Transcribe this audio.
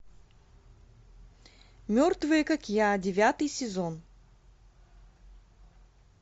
мертвые как я девятый сезон